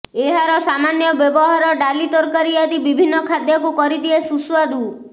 ଏହାର ସାମାନ୍ୟ ବ୍ୟବହାର ଡାଲି ତରକାରୀ ଆଦି ବିଭିନ୍ନ ଖାଦ୍ୟକୁ କରିଦିଏ ସୁସ୍ୱାଦୁ